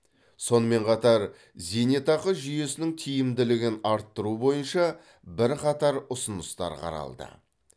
сонымен қатар зейнетақы жүйесінің тиімділігін арттыру бойынша бірқатар ұсыныстар қаралды